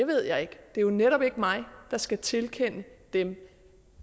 ved jeg ikke det er jo netop ikke mig der skal tilkende den